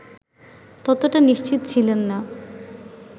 ততটা নিশ্চিত ছিলেন না